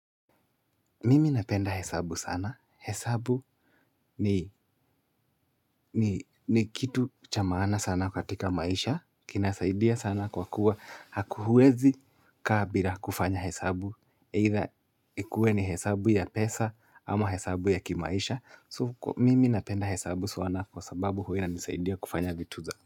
Mimi napenda hesabu sana. Hesabu ni ni kitu cha maana sana katika maisha. Kinasaidia sana kwa kuwa huwezi kaa bila kufanya hesabu. Aidha ikuwe ni hesabu ya pesa ama hesabu ya kimaisha. So, mimi napenda hesabu sana kwa sababu huwa inanisaidia kufanya vitu za.